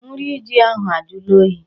Nri ji ahụ ajụla oyi.